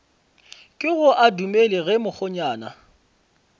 kego a dumele ge mokgonyana